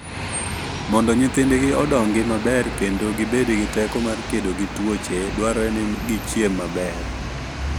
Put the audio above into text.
Mondo nyithindgi odongi maber kendo gibed gi teko mar kedo gi tuoche, dwarore ni gichiem maber.